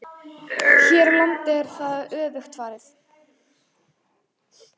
Hér á landi er þessu öfugt farið.